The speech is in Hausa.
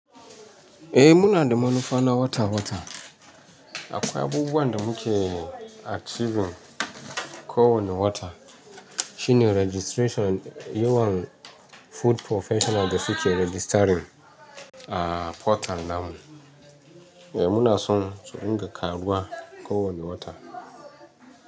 Eh muna da manufa na wata wata. Akwai abubuwan da muke achieving kowane wata shine registration yawan food professional da suke registering a portal namu. Eh muna son su dinga karuwa kowane wata.